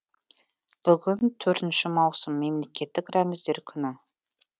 бүгін төртінші маусым мемлекеттік рәміздер күні